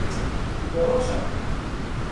Priporočam!